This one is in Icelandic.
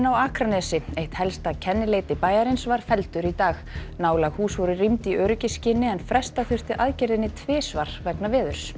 á Akranesi eitt helsta kennileiti bæjarins var felldur í dag nálæg hús voru rýmd í öryggisskyni en fresta þurfti aðgerðinni tvisvar vegna veðurs